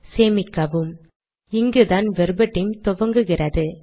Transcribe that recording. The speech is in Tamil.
சேமிக்கவும் இங்குதான் வெர்பட்டிம் துவங்குகிறது